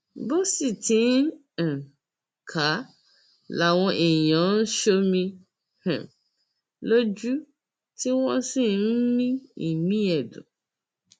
bó sì ti ń um kà á làwọn èèyàn ń ṣomi um lójú tí wọn ń mí ìmí ẹdùn